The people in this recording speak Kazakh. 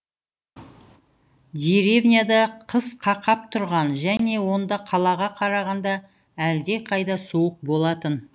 деревняда қыс қақап тұрған және онда қалаға қарағанда әлдеқайда суық болатын